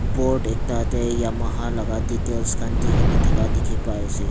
board ekta dey yamaha laga details khan digena thaka dikhi pai ase.